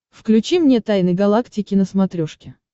включи мне тайны галактики на смотрешке